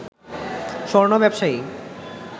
স্বর্ণ ব্যবসায়ী